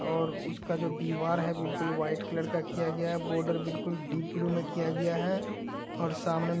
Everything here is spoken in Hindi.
और उसका जो दीवार है। बिल्कुल व्हाइट कलर का किया गया है। बॉर्डर बिल्कुल डीप ब्लू में किया गया है > और सामने --